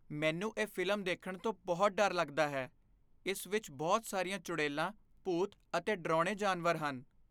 ਮੈਂਨੂੰ ਇਹ ਫ਼ਿਲਮ ਦੇਖਣ ਤੋਂ ਬਹੁਤ ਡਰ ਲਗਦਾ ਹੈ। ਇਸ ਵਿੱਚ ਬਹੁਤ ਸਾਰੀਆਂ ਚੁੜੈਲਾਂ, ਭੂਤ ਅਤੇ ਡਰਾਉਣੇ ਜਾਨਵਰ ਹਨ।